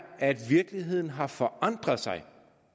at virkeligheden har forandret sig